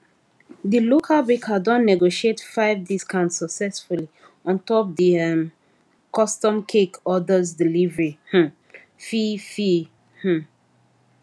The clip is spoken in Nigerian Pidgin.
the local baker don negotiate five discount successfully ontop the um custom cake orders delivery um fee fee um